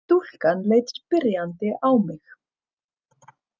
Stúlkan leit spyrjandi á mig.